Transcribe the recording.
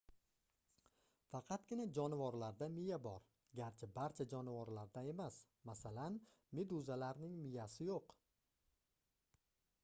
faqatgina jonivorlarda miya bor garchi barcha jonivorlarda emas; masalan meduzalarning miyasi yo'q